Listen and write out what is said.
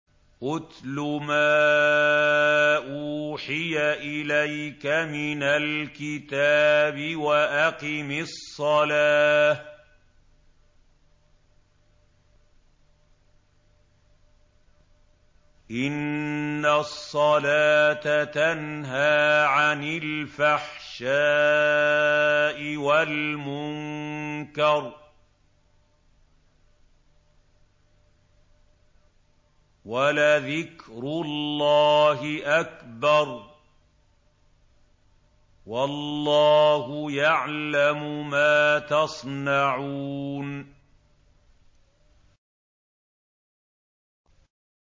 اتْلُ مَا أُوحِيَ إِلَيْكَ مِنَ الْكِتَابِ وَأَقِمِ الصَّلَاةَ ۖ إِنَّ الصَّلَاةَ تَنْهَىٰ عَنِ الْفَحْشَاءِ وَالْمُنكَرِ ۗ وَلَذِكْرُ اللَّهِ أَكْبَرُ ۗ وَاللَّهُ يَعْلَمُ مَا تَصْنَعُونَ